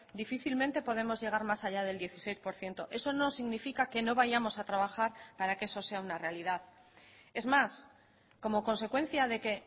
difícilmente podemos llegar más allá del dieciséis por ciento eso no significa que no vayamos a trabajar para que eso sea una realidad es más como consecuencia de que